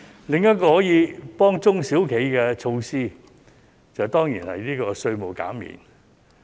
另一個可以幫中小企的措施，當然便是稅務減免。